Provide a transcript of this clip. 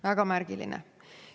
Väga märgiline.